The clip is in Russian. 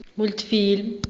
мультфильм